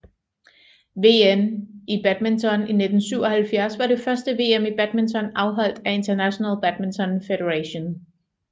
VM i badminton 1977 var det første VM i badminton afholdt af International Badminton Federation